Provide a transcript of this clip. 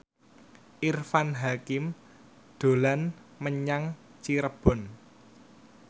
Irfan Hakim dolan menyang Cirebon